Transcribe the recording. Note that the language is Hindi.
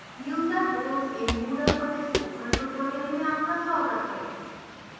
user roles in moodle पर spoken tutorial में आपका स्वागत है